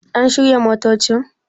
An shirya motocin?